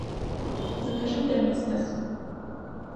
закажи доместос